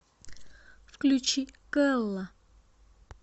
включи кэлла